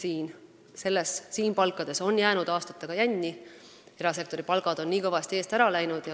Me teame, et riik on palkade maksmisega juba aastaid jänni jäänud, sest erasektori palgad on kõvasti eest ära läinud.